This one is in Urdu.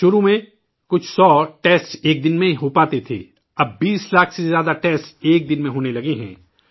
شروع میں کچھ سو ٹیسٹ ایک دن میں ہو پاتے تھے، اب 20 لاکھ سے زیادہ ٹیسٹ ایک دن میں ہونے لگے ہیں